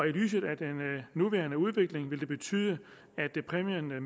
lyset af den nuværende udvikling vil det betyde at præmien med